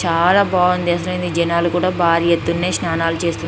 చాలా బాగుంది అసలు జనాలు కూడ భారీ ఎత్తున స్నానాలు చేస్తున్నారు.